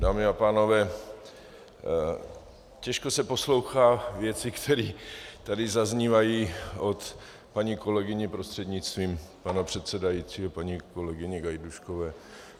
Dámy a pánové, děžko se poslouchají věci, které tady zaznívají od paní kolegyně, prostřednictvím pana předsedajícího paní kolegyně Gajdůškové.